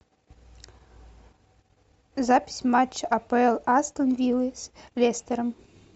запись матч апл астон виллы с лестером